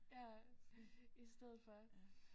Ja i stedet for